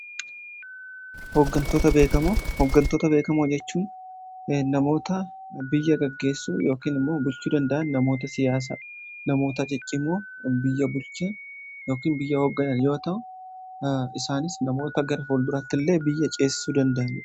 Hoggantoota beekamoo jechuun namoota biyya gaggeessuu ykn immoo bulchuu danda'an namoota siyaasa namoota ciccimoo biyya bulchan ykn biyya hogganan yoo ta'u. Isaanis namoota gara fuulduratti illee biyya ceesisuu danda'aniidha.